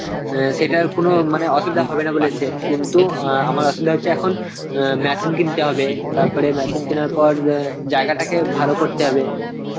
অ্যাঁ সেটার কোন মানে অসুবিধা হবে না বলেছে কিন্তু অ্যাঁ আমার আসলে হচ্ছে এখন অ্যাঁ machine কিনতে হবে তারপরে machine কেনার পর অ্যাঁ জায়গাটাতে ভালো করতে হবে